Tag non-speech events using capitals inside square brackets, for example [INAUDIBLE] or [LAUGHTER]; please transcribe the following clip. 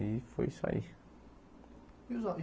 E foi isso aí. E os [UNINTELLIGIBLE]